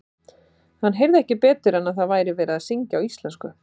Hann heyrði ekki betur en að það væri verið að syngja á íslensku.